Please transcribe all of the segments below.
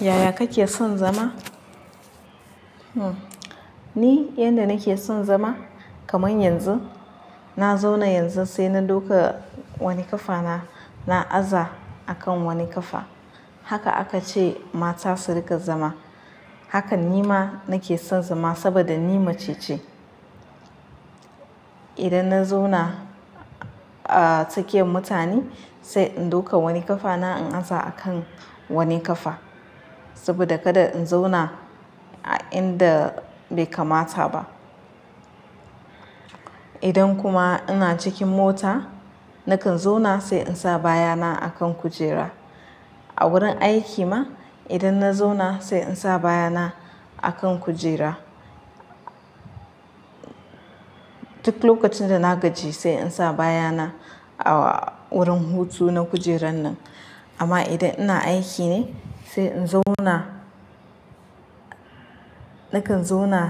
Yaya kake son zama? Hm, ni yanda nake son zama kaman yanzu, na zauna yanzu sai na ɗauka wani ƙafa na, na aza a kan wani ƙafa. Haka aka ce mata su riƙa zama. Hakan ni ma nake son zama saboda ni mace ce. Idan na zauna, ah, tsakiyan mutane, sai in dauka wani ƙafa na in aza a kan wani ƙafa. Saboda kada in zauna a inda bai kamata ba. Idan kuma ina cikin mota, nakan zauna sai in sa baya na a kan kujera. A wurin aiki ma, idan na zauna sai in sa baya na a kan kujera. Duk lokacin da na gaji sai in sa baya na a wurin hutu na kujerar nan. Amma idan ina aiki ne, sai in zauna, nakan zama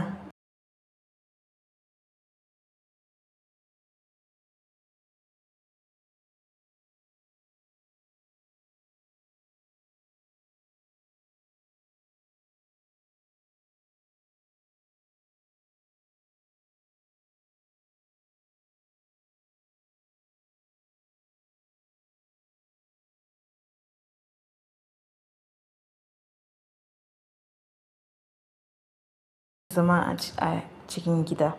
a cikin gida.